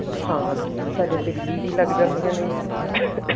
ਹਾਂ ਸਾਡੇ ਦਿੱਲੀ ਵੀ ਲੱਗ ਜਾਂਦੀਆਂ ਨੇ